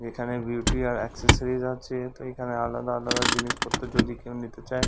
এখানে বিউটি আর এক্সেসরিজ আছে। তো এখানে আলাদা আলাদা জিনিসপত্র যদি কেউ নিতে চায়--